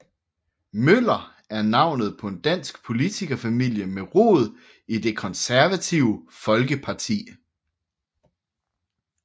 Møller er navnet på en dansk politikerfamilie med rod i Det Konservative Folkeparti